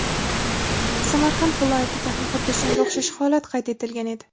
Samarqand viloyatiga ham xuddi shunga o‘xshash holat qayd etilgan edi.